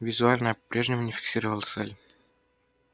визуально я по-прежнему не фиксировал цель